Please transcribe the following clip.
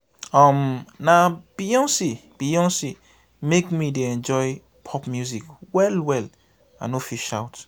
um na beyonce beyonce make me dey enjoy pop music well-well i no fit shout.